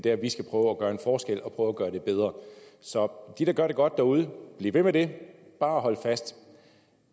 at vi skal prøve at gøre en forskel og prøve at gøre det bedre så til dem der gør det godt derude bliv ved med det bare hold fast